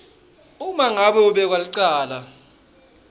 uma ngabe umbekwacala